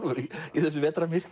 í þessu